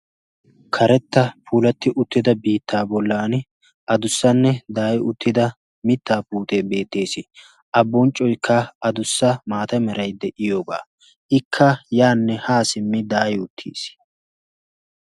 Karetta puulatti uttida biittaa bollan a dussanne daai uttida mittaa puutee beettees. a bonccoikka a dussa maata merai de'iyoogaa ikka yaanne haa simmi daayi uttiis.